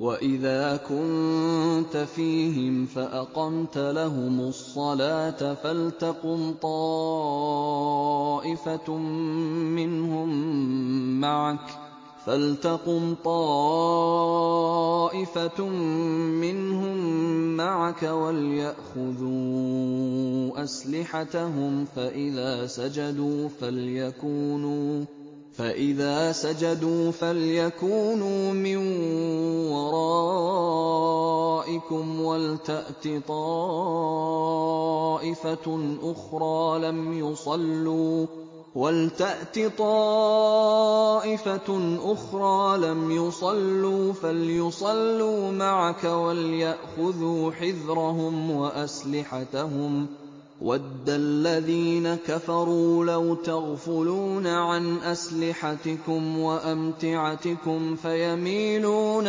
وَإِذَا كُنتَ فِيهِمْ فَأَقَمْتَ لَهُمُ الصَّلَاةَ فَلْتَقُمْ طَائِفَةٌ مِّنْهُم مَّعَكَ وَلْيَأْخُذُوا أَسْلِحَتَهُمْ فَإِذَا سَجَدُوا فَلْيَكُونُوا مِن وَرَائِكُمْ وَلْتَأْتِ طَائِفَةٌ أُخْرَىٰ لَمْ يُصَلُّوا فَلْيُصَلُّوا مَعَكَ وَلْيَأْخُذُوا حِذْرَهُمْ وَأَسْلِحَتَهُمْ ۗ وَدَّ الَّذِينَ كَفَرُوا لَوْ تَغْفُلُونَ عَنْ أَسْلِحَتِكُمْ وَأَمْتِعَتِكُمْ فَيَمِيلُونَ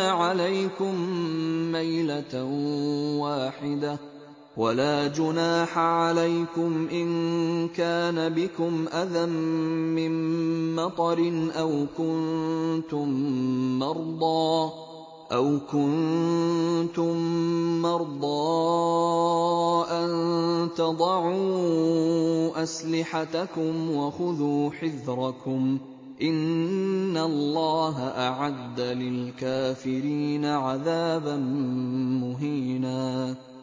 عَلَيْكُم مَّيْلَةً وَاحِدَةً ۚ وَلَا جُنَاحَ عَلَيْكُمْ إِن كَانَ بِكُمْ أَذًى مِّن مَّطَرٍ أَوْ كُنتُم مَّرْضَىٰ أَن تَضَعُوا أَسْلِحَتَكُمْ ۖ وَخُذُوا حِذْرَكُمْ ۗ إِنَّ اللَّهَ أَعَدَّ لِلْكَافِرِينَ عَذَابًا مُّهِينًا